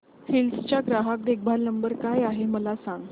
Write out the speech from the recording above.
hills चा ग्राहक देखभाल नंबर काय आहे मला सांग